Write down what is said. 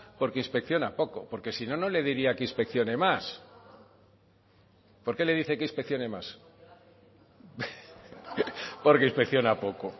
porque inspecciona poco porque si no no le diría que inspeccione más por qué le dice que inspeccione más porque inspecciona poco